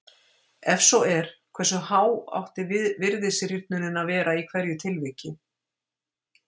Ef svo er, hversu há átti virðisrýrnunin að vera í hverju tilviki?